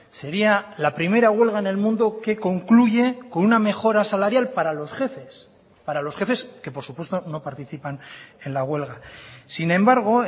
sería la primera huelga en el mundo que concluye con una mejora salarial para los jefes para los jefes que por supuesto no participan en la huelga sin embargo